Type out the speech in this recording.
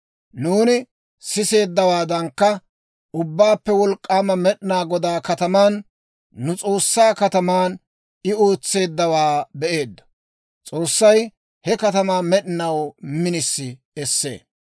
Nuuni siseeddawaadankka, Ubbaappe Wolk'k'aama Med'inaa Godaa kataman, nu S'oossaa kataman, I ootseeddawaa be'eeddo. S'oossay he katamaa med'inaw minisi essee.